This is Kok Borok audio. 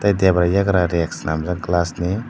debra yagra reg selamjak glass ni.